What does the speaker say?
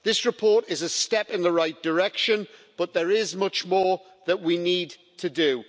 This report is a step in the right direction, but there is much more that we need to do.